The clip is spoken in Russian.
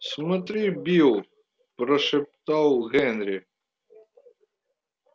смотри билл прошептал генри